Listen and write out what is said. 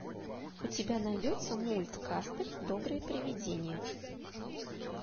у тебя найдется мульт каспер доброе привидение